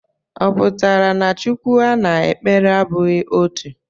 Ọ pụtara na Chukwu a na-ekpere abụghị otu?